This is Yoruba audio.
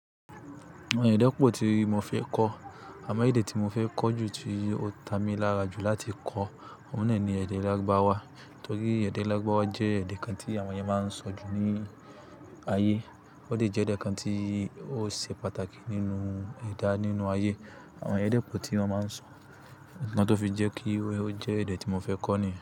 Àwọn èdè pọ̀ tí mo fẹ́ kọ́, àmọ́ èdè tí mo fẹ́ kọ́ jù tí ó ta mi lára jù láti kọ́, ọ̀nà náà ni èdè Lárùbáwá. Nítorí èdè Lárùbáwá jẹ́ èdè kan tí àwọn ènìyàn máa ń sọ jù ní ayé, ó sì jẹ́ èdè kan tí ó ṣe pàtàkì nínú ẹ̀dá nínú ayé. Àwọn èèyàn dẹ̀ pọ̀ tí wọ́n máa ń sọ, nnkan tó fi jẹ́ kí ó jẹ́ èdè tí mo fẹ́ kọ́ nìyẹn.